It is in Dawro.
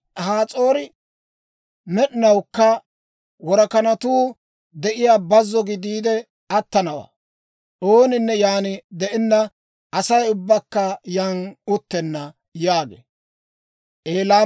Has'oori med'inawukka worakanatuu de'iyaa bazzo gidiide attanawaa. Ooninne yaan de'enna; Asay ubbakka yaan uttenna» yaagee.